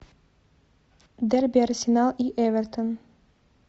дерби арсенал и эвертон